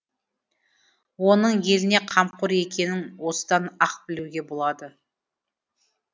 оның еліне қамқор екенің осыдан ақ білуге болады